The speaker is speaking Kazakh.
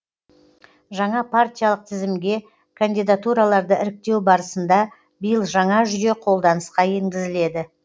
жаңа партиялық тізімге кандидатураларды іріктеу барысында биыл жаңа жүйе қолданысқа енгізіледі